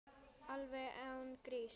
Alveg án gríns.